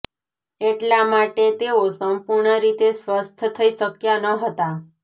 એટલા માટે તેઓ સંપૂર્ણ રીતે સ્વસ્થ થઇ શક્યા ન હતાં